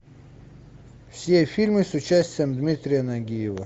все фильмы с участием дмитрия нагиева